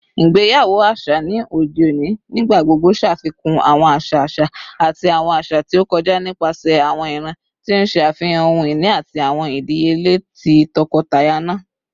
Igbeyawo aṣa ni ode oni nigbagbogbo ṣafikun awọn aṣa aṣa ati awọn aṣa ti o kọja nipasẹ awọn iran, ti n ṣe afihan ohun-ini ati awọn idiyele ti tọkọtaya naa.